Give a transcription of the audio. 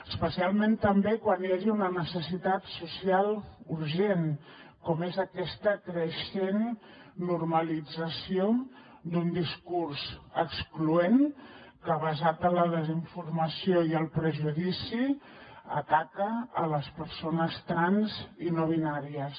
especialment també quan hi hagi una necessitat social urgent com és aquesta creixent normalització d’un discurs excloent que basat en la desinformació i el prejudici ataca les persones trans i no binàries